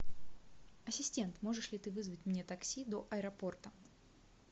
ассистент можешь ли ты вызвать мне такси до аэропорта